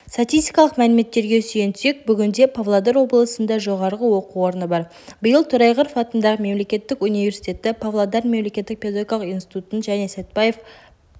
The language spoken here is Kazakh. статистикалық мәліметтерге сүйенсек бүгінде павлодар облысында жоғары оқу орны бар биыл торайғыров атындағы мемлекеттік университетті павлодар мемлекеттік педагогикалық институтын және сәтбаев